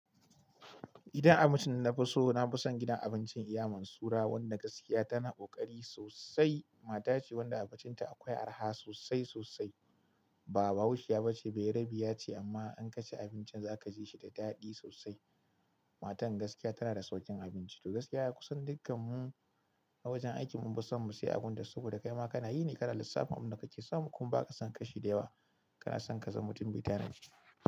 Gidan abincin dana fi so, na fi son gidan abincin Iya man Surah. Wanda gaskiya tana ƙoƙari sosai. Mata ce wanda abincinta akwai arha sosai sosai. Ba bahaushiya ba ce, bayarbiya ce amma in ka ci abincin za ka ji shi da daɗi sosai. Matan gaskiya tana da sauƙin abinci. To gaskiya ya kusan dukkanmu a wajen aiki mun fi son mu sayi abin ta saboda kai ma ka na yi ne kana lissafin abin da kake samu. Kuma ba ka son kashi da yawa, ka na son ka zama mutum mai tanadi.